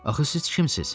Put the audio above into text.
Axı siz kimsiz?